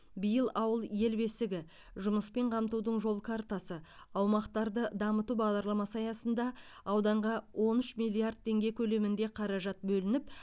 биыл ауыл ел бесігі жұмыспен қамтудың жол картасы аумақтарды дамыту бағдарламасы аясында ауданға он үш миллиард теңге көлемінде қаражат бөлініп